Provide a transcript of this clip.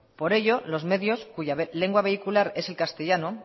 por ello lo medios cuya lengua vehicular es el castellano